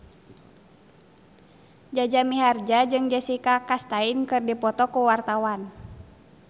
Jaja Mihardja jeung Jessica Chastain keur dipoto ku wartawan